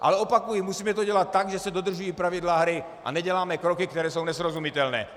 Ale opakuji, musíme to dělat tak, že se dodržují pravidla hry, a neděláme kroky, které jsou nesrozumitelné.